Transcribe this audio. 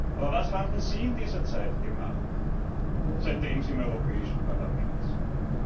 Aber was haben Sie in dieser Zeit gemacht, seit Sie im Europäischen Parlament sind?